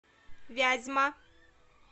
вязьма